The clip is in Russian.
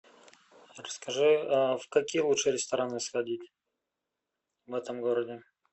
расскажи в какие лучше рестораны сходить в этом городе